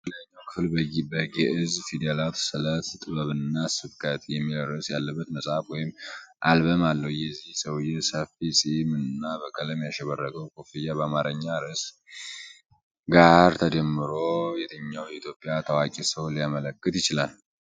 የሽፋኑ የላይኛው ክፍል በጌእዝ ፊደላት “ስለት ጥበብና ስብከት” የሚል ርዕስ ያለበት መጽሐፍ ወይም አልበምአለው። የዚህ ሰውዬ ሰፊ ፂም እና በቀለም ያሸበረቀው ኮፍያ ከአማርኛ ርዕስ ጋር ተዳምሮ የትኛውን የኢትዮጵያ ታዋቂ ሰው ሊያመለክት ይችላል?